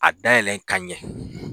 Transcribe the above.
A dayɛlɛn ka ɲɛ